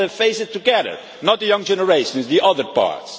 Let us face it together, not the young generation, but the other parts.